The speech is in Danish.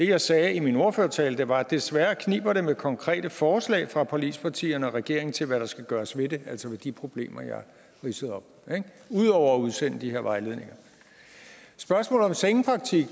jeg sagde i min ordførertale var desværre kniber med konkrete forslag fra forligspartierne og regeringens side til hvad der skal gøres ved det altså ved de problemer jeg ridsede op ud over at udsende de her vejledninger spørgsmålet om sengepraktik